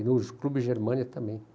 E no Clube Germânia também.